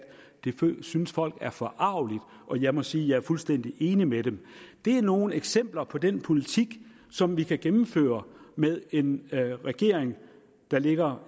det synes folk er forargeligt og jeg må sige at jeg er fuldstændig enig med dem det er nogle eksempler på den politik som vi kan gennemføre med en regering der ligger